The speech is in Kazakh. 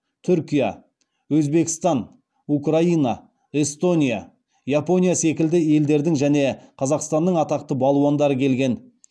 түркия өзбекстан украина эстония япония секілді елдердің және қазақстанның атақты балуандары келген